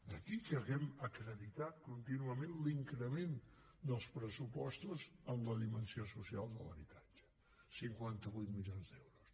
d’aquí que hàgim acreditat contínuament l’increment dels pressupostos en la dimensió social de l’habitatge cinquanta vuit milions d’euros